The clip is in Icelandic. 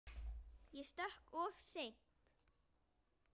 Ég stökk of seint.